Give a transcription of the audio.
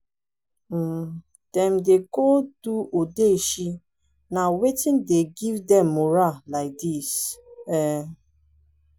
um dem don go do odeshi na wetin dey give dem morah like dis um